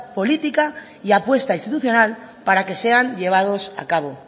política y apuesta institucional para que sean llevados a cabo